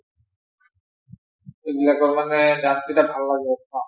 এইবিলাকৰ মানে dance কেইটা ভাল লাগে